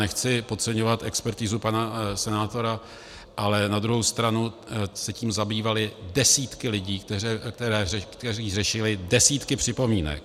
Nechci podceňovat expertizu pana senátora, ale na druhou stranu se tím zabývaly desítky lidí, kteří řešili desítky připomínek.